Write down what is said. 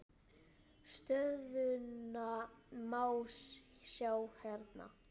Stöðuna má sjá hérna.